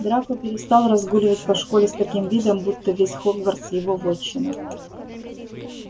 драко перестал разгуливать по школе с таким видом будто весь хогвартс его вотчина